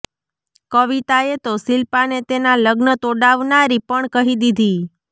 કવિતાએ તો શિલ્પાને તેનાં લગ્ન તોડાવનારી પણ કહી દીધી